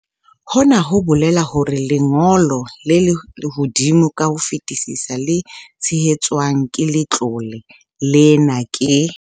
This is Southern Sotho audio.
Hona ho bolela hore lengo lo le hodimo ka ho fetisisa le tshehetswang ke letlole lena ke.